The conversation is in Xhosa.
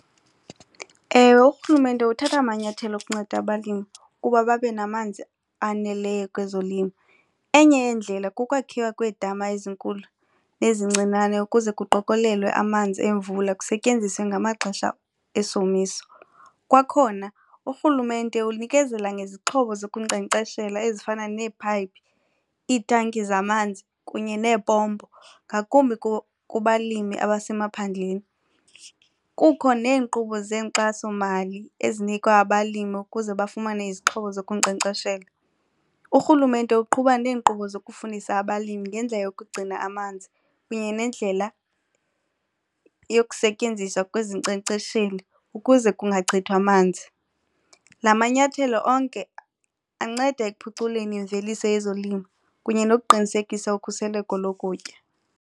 Ewe, uRhulumente uthatha amanyathelo okunceda abalimi ukuba babe namanzi aneleyo kwezolimo. Enye yeendlela kukwakhiwa kweedama ezinkulu nezincinane ukuze kuqokolelwe amanzi emvula kusetyenziswe ngamaxesha esomiso. Kwakhona uRhulumente unikezela ngezixhobo zokunkcenkceshela ezifana neephayiphi iitanki zamanzi kunye neepompo ngakumbi kubalimi abasemaphandleni. Kukho neenkqubo zeenkxasomali ezinikwa abalimi ukuze bafumane izixhobo zokunkcenkceshela. URhulumente uqhuba neenkqubo zokufundisa abalimi ngendlela yokugcina amanzi kunye nendlela yokusetyenziswa kwezinkcenkcesheli ukuze kungachithwa manzi. La manyathelo onke anceda ekuphuculeni imveliso yezolimo kunye nokuqinisekisa ukhuseleko lokutya.